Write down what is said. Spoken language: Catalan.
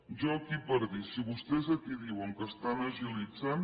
jo aquí per dir si vostès aquí diuen que estan agilitzant